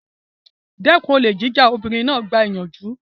Dẹ́kun olè jíjà! Obìnrin náà gba ìyànjú.